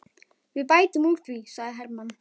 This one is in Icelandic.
Við bætum úr því, sagði Hermann.